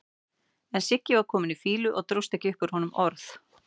En Siggi var kominn í fýlu og dróst ekki upp úr honum orð.